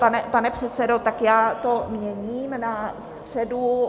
Pane předsedo, tak já to měním na středu...